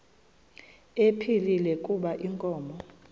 ephilile kuba inkomo